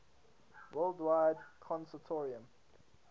wide web consortium